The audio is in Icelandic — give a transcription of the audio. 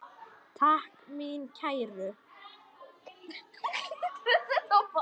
Takk mín kæru.